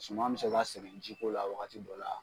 Suman bɛ se ka sɛgɛn jiko la wagati dɔ la.